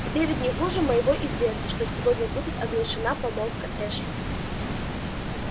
тебе ведь не хуже моего известно что сегодня будет оглашена помолвка эшли